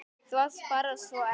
Þú varst bara svo ekta.